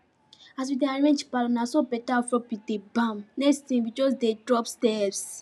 as we dey arrange palour naso beta afro beats dey bam next thing we just dey drop steps